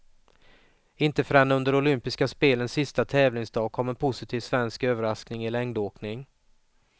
Inte förrän under olympiska spelens sista tävlingsdag kom en positiv svensk överraskning i längdåkning.